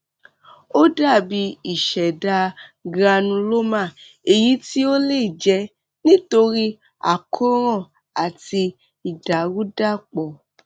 ó dàbí ìṣẹdá granuloma èyí tí ó lè jẹ nítorí àkóràn àti ìdàrúdàpò